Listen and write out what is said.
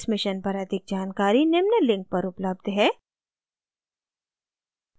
इस mission पर अधिक जानकारी निम्न लिंक पर उपलब्ध है